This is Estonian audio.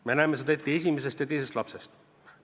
Me näeme seda alates esimesest ja teisest lapsest.